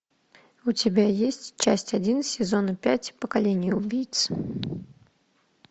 у тебя есть часть один сезона пять поколение убийц